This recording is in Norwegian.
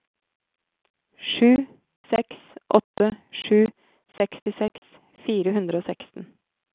sju seks åtte sju sekstiseks fire hundre og seksten